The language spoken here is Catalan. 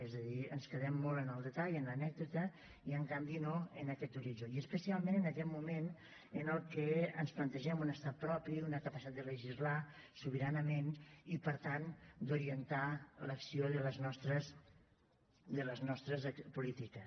és a dir ens quedem molt en el detall en l’anècdota i en canvi no en aquest horitzó i especialment en aquest moment en què ens plantegem un estat propi una capacitat de legislar sobiranament i per tant d’orientar l’acció de les nostres polítiques